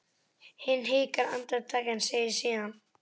Hann hikar andartak en segir síðan